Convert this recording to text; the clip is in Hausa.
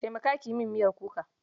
Taimaka ki yi min miyar kuka.